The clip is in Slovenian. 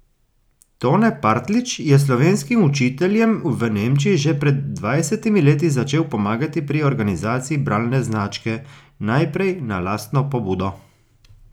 Tone Partljič je slovenskim učiteljem v Nemčiji že pred dvajsetimi leti začel pomagati pri organizaciji bralne značke, najprej na lastno pobudo.